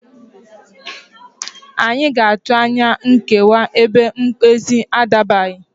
Anyị ga-atụ anya nkewa ebe mkpezi a adabaghị